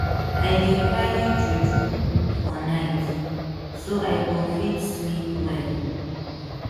i dey carry juju for night so i go fit sleep well